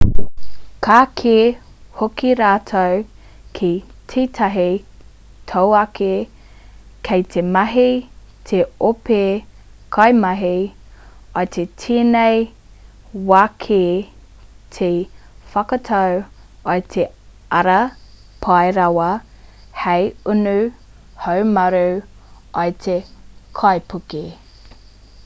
ka kī hoki rātou ki tētahi tauākī kei te mahi te ope kaimahi i tēnei wā ki te whakatau i te ara pai rawa hei unu haumaru i te kaipuke